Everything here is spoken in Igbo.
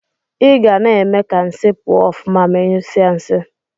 Igana eme ka nsi pụọ ọfụma ma inyụsie nsi.